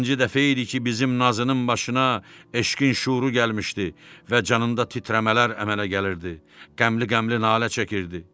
Birinci dəfə idi ki, bizim nazının başına eşqin şüuru gəlmişdi və canında titrəmələr əmələ gəlirdi, qəmli-qəmli nalə çəkirdi.